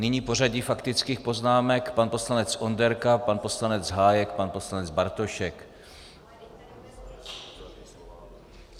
Nyní pořadí faktických poznámek: pan poslanec Onderka, pan poslanec Hájek, pan poslanec Bartošek.